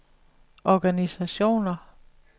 organisationer